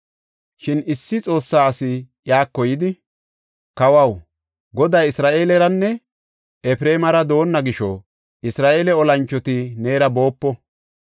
Shin issi Xoossa asi iyako yidi, “Kawaw, Goday Isra7eeleranne Efreemara doonna gisho, Isra7eele olanchoti neera boopo.